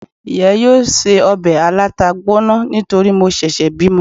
iya yóò se òbè alatá gboná nítorí mo sèsè bimò